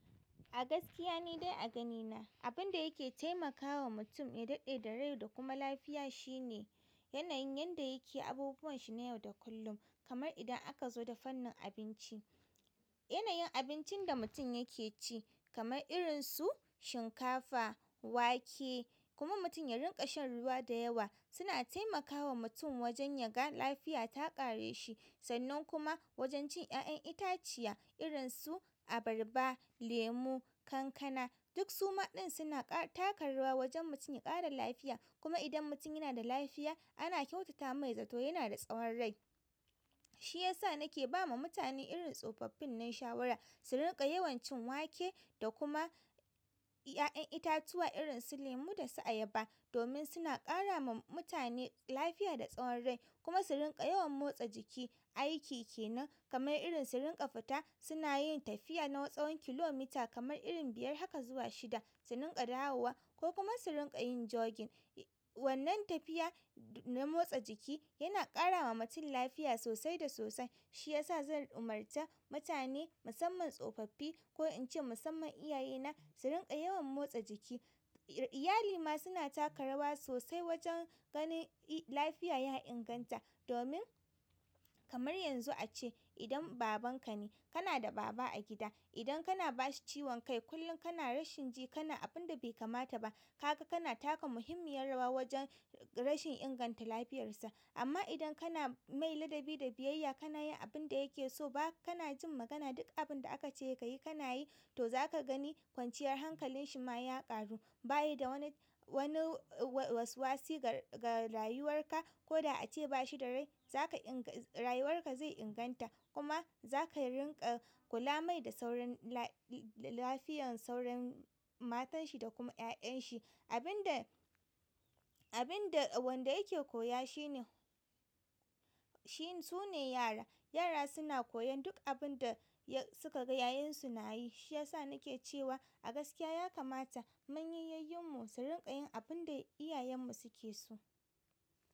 A gaskiya ni dai a ganina, abun da yake taimakawa mutum ya daɗe da rai da kuma lafiya shine yanayin yadda yake abubuwan shi na yau da kullum. Kamar idan aka zo da fannin abinci, yanayin abincin da mutum yake ci kamar irin su shinkafa, wake kuma mutum ya rinƙa shan ruwa da yawa suna taimakawa mutum wajen yaga lafiya ta ƙare shi. Sannan kuma wajen cin ƴaƴan itaciya irin su abarba, lemu, kankana duk su maɗin suna taka rawa wajen mutum ya ƙara lafiya. Kuma idan mutum yana da lafiya ana kyautata mai zato yana da tsawon rai. Shi yasa nake ba ma mutane irin tsofaffin nan shawara su rinƙa yawan cin wake da kuma ƴaƴan itatuwa irin su lemu da su ayaba domin suna ƙara ma mutane lafiya da tsawon rai. Kuma su rinƙa yawan motsa jiki, aiki kenan kamar irin su rinƙa fita suna yin tafiya na tsawon kilomita kamar irin biyar haka zuwa shida, su rinƙa dawowa ko kuma su rinƙa yin jogin. Wannan tafiya na motsa jiki yana ƙara ma mutum lafiya sosai da sosai. Shi yasa zan umarta mutane musamman tsofaffi ko in ce musamman iyaye na su rinƙa yawan motsa jiki. Iyali ma suna taka rawa sosai wajen ganin lafiya ya inganta domin kamar yanzu a ce idan babanka ne kana da baba a gida, idan kana bashi ciwon kai kullum kana rashin ji kana abun da bai kamata ba, kaga kana taka muhimmiyar rawa wajen rashin inganta lafiyarsa. Amma idan kana mai ladabi da biyayya kana yin abin da yake so ba kana jin magana duk abin da aka ce ka yi kana yi, to za ka gani kwanciyar hankalin shi ma ya ƙaru. Ba yi da wani-wani waswasi ga-ga rayuwar ka ko da a ce bashi da rai, za ka inƙa rayuwar ka zai inganta. Kuma za ka rinƙa kula mai da sauran lafiyan sauran matan shi da kuma ƴaƴan shi. Abun da, abun da wanda yake koya shine sune yara. Yara suna koyan duk abin da su ka ga yayansu na yi. Shi yasa nake cewa a gaskiya ya kamata manyan yayyun mu su rinƙa yin abun da iyayen mu suke so.